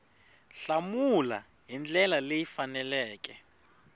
hlamula hi ndlela leyi faneleke